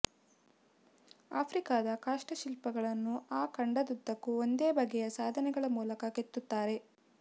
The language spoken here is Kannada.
ಆಫ್ರಿಕಾದ ಕಾಷ್ಠಶಿಲ್ಪಗಳನ್ನು ಆ ಖಂಡದುದ್ದಕ್ಕೂ ಒಂದೇ ಬಗೆಯ ಸಾಧನಗಳ ಮೂಲಕ ಕೆತ್ತುತ್ತಾರೆ